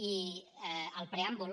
i al preàmbul